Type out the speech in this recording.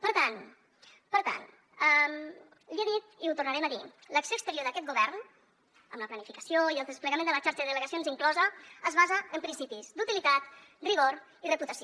per tant per tant l’hi he dit i ho tornarem a dir l’acció exterior d’aquest govern amb la planificació i el desplegament de la xarxa de delegacions inclosa es basa en principis d’utilitat rigor i reputació